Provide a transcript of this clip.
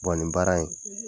Bɔn ni baara in